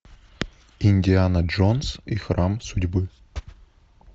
индиана джонс и храм судьбы